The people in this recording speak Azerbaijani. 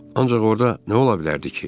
Ancaq orda nə ola bilərdi ki?